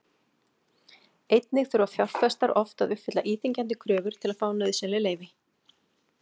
Einnig þurfa fjárfestar oft að uppfylla íþyngjandi kröfur til að fá nauðsynleg leyfi.